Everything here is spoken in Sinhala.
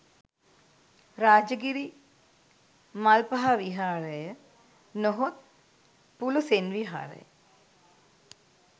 රාජගිරි මල්පහ විහාරය නොහොත් පුලූසෙන් විහාරය